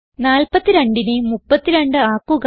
42നെ 32 ആക്കുക